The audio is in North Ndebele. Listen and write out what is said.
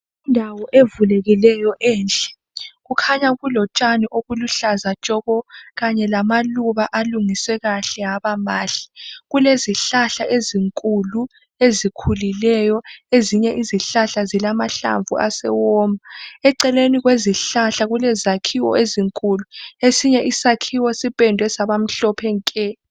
Indawo evulekileyo enhle , Kukhanya kulotshani obuluhlaza tshoko. Kanye lamaluba alungiswe kahle abamahle. Kulezihlahla ezinkulu ezikhulileyo ,ezinye izihlahla ezilamahlamvu asewoma. Eceleni kwezihlahla kulezakhiwo ezinkulu ,esinye izakhiwo siphendwe saba mhlophe nke.